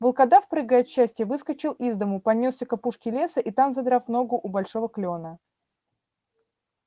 волкодав прыгая от счастья выскочил из дому понёсся к опушке леса и там задрав ногу у большого клёна